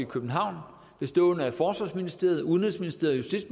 københavn bestående af forsvarsministeriet udenrigsministeriet og